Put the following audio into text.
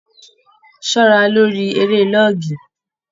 Ṣọra lórí eré lọọgì!